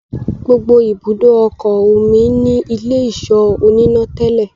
gbógbó ibùdó okò omí ní Ilé-ìṣọ́ oníná tèlé.